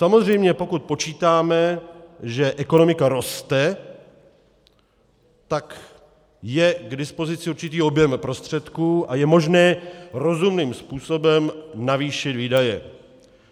Samozřejmě pokud počítáme, že ekonomika roste, tak je k dispozici určitý objem prostředků a je možné rozumným způsobem navýšit výdaje.